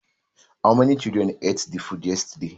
How many children ate the food yesterday